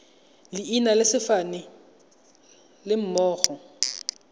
leina le sefane go lemoga